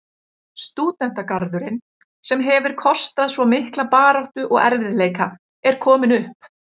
Stúdentagarðurinn, sem hefir kostað svo mikla baráttu og erfiðleika, er kominn upp.